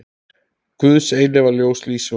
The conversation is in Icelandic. Guðs eilífa ljós lýsi honum.